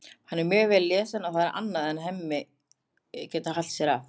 Hann er mjög vel lesinn og það er annað en Hemmi getur hælt sér af.